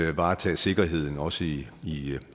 at varetage sikkerheden også i i